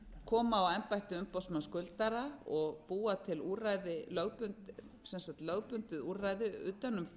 koma á embætti umboðsmanns skuldara og búa til lögbundið úrræði utan um